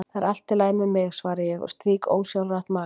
Það er allt í lagi með mig, svara ég og strýk ósjálfrátt magann.